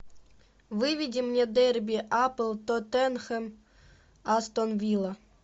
выведи мне дерби апл тоттенхэм астон вилла